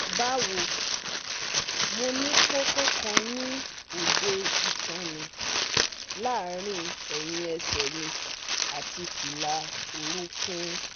Bawo, Mo ni koko kan ni ode itan mi laarin ẹhin ẹsẹ mi ati fila orokun